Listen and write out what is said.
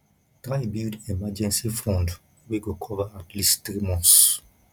try build emergency fund wey go cover at least three months